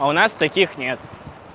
а у нас таких нет